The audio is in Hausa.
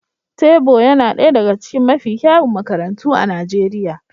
Therbow yana ɗaya daga cikin mafi kyawun makarantu a Najeriya